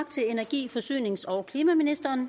til energi forsynings og klimaministeren